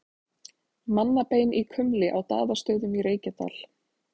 Mannabein í kumli á Daðastöðum í Reykjadal.